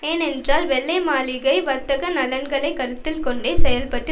ஏனென்றால் வெள்ளை மாளிகை வர்த்தக நலன்களை கருத்தில்கொண்டே செயல்பட்டு